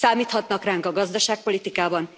Számíthatnak ránk a gazdaságpolitikában.